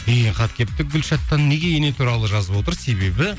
деген хат келіпті гүлшаттан неге ене туралы жазып отыр себебі